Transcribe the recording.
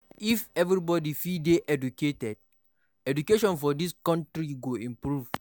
If everybody fit dey educated, technology for dis country go improve